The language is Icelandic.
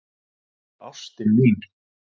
Elsku ástin mín.